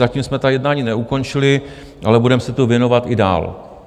Zatím jsme ta jednání neukončili, ale budeme se tomu věnovat i dál.